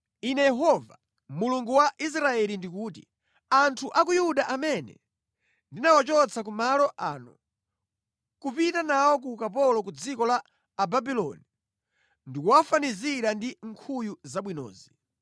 “Ine Yehova, Mulungu wa Israeli ndikuti, ‘Anthu a ku Yuda amene ndinawachotsa ku malo ano nʼkupita nawo ku ukapolo ku dziko la Ababuloni ndikuwafanizira ndi nkhuyu zabwinozi.